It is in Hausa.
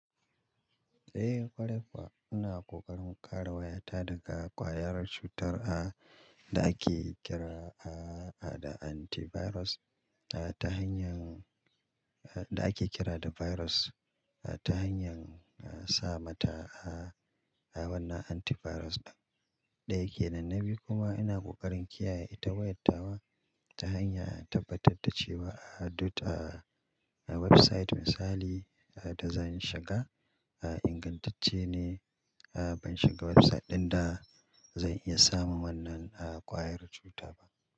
Eh, ƙwarai kuwa. Ina ƙoƙarin kare wayata daga ƙwayar cutar a, da ake kira a, a da antivirus a ta hanyar a, da ake kira da virus a ta hanyar a sa mata a, wannan antivirus ɗin da yake nan. Na biyu kuma ina ƙoƙarin kiyaye ita wayat tawa ta hanya tabbatar da cewa a duk a, a website misali a da zan shiga a ingantacce ne. A ban shiga website ɗin da zan iya samun wannan a ƙwayar cuta ba.